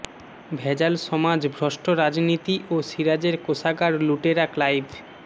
ভেজাল সমাজ ভ্রষ্ট রাজনীতি ও সিরাজের কোষাগার লুটেরা ক্লাইভ